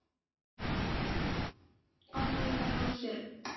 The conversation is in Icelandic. Ánægður með hrósið.